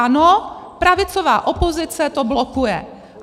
Ano, pravicová opozice to blokuje.